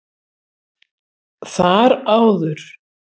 Þar áður